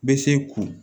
Bɛ se k'u